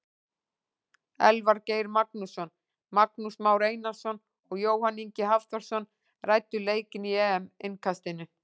Elvar Geir Magnússon, Magnús Már Einarsson og Jóhann Ingi Hafþórsson ræddu leikinn í EM innkastinu.